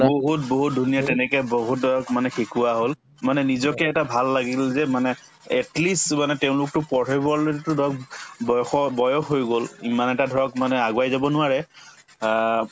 বহুত বহুত ধুনীয়া তেনেকে বহুতক মানে শিকোৱা হল মানে নিজকে এটা ভাল লাগিল যে মানে at least মানে তেওঁলোকতো পঢ়িবলেতো ধৰক বয়সো বয়স হৈ গল ইমান এটা ধৰক মানে আগুৱাই যাব নোৱাৰে আ